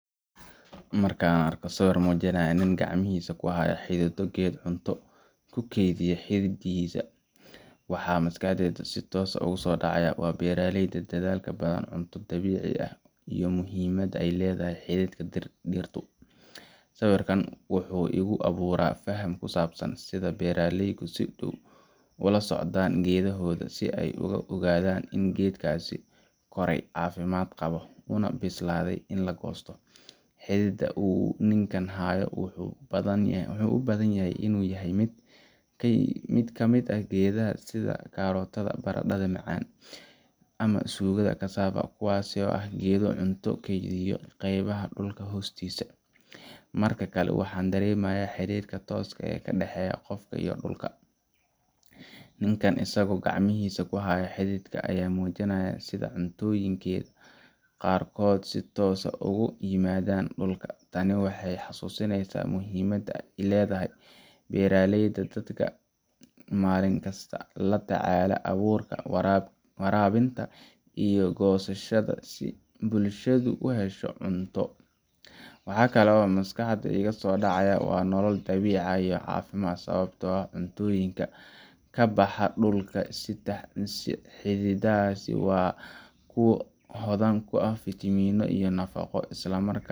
Marka aan arko sawir muujinaya nin gacmihiisa ku haya xididdo geed cunto ku kaydisa xididdada, waxa maskaxdayda si toos ah ugu soo dhaca waa beeraleyda dadaalka badan, cunto dabiici ah, iyo muhiimadda ay leedahay xididka dhirtu. Sawirkan wuxuu igu abuuraa faham ku saabsan sida beeraleydu si dhow ula socdaan geedahooda, si ay u ogaadaan in geedkaasi koray, caafimaad qabo, una bislaaday in la goosto. Xididka uu ninka hayaa wuxuu u badan yahay in uu yahay mid ka mid ah geedaha sida karootada, barandhada macaan , ama suugada cassava, kuwaas oo ah geedo cunto ku keydiya qaybaha dhulka hoostiisa ah. Marka kale, waxaan dareemayaa xiriirka tooska ah ee ka dhexeeya qofka iyo dhulka. Ninkan isagoo gacmihiisa ku haya xididka ayaa muujinaya sida cuntooyinkeenna qaarkood si toos ah uga yimaadaan dhulka. Tani waxay xasuusinaysaa muhiimadda ay leedahay beeraleyda dadka maalinkasta la tacaalaya abuurka, waraabinta, iyo goosashada si bulshadu u hesho cunto. Waxa kale oo maskaxda iiga soo dhacaya waa noolal dabiici ah iyo caafimaad, sababtoo ah cuntooyinka ka baxa dhulka sida xididdadaas waa kuwo hodan ku ah fiitamiinno iyo nafaqo, isla markaana